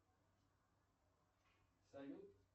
салют